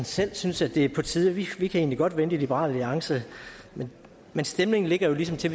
selv synes det er på tide for vi kan egentlig godt vente i liberal alliance men men stemningen er jo ligesom til